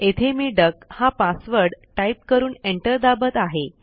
येथे मी डक हा पासवर्ड टाईप करून एंटर दाबत आहे